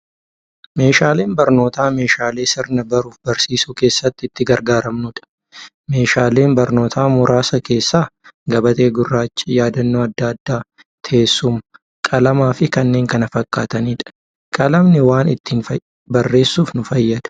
Meeshaaleen barnootaa meeshaalee meeshaalee sirna baruuf barsiisuu keessatti itti gargaaramnuudha. Meeshaalee barnootaa muraasa keessaa; gabatee gurraacha, yaadannoo adda addaa, teessuma, qalamafi kanneen kana fakkaataniidha. Qalamni waa ittiin barreessuuf nu fayyada.